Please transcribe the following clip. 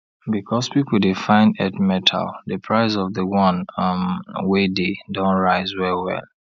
because people dey find earth metal the price of the one um wey dey don rise well well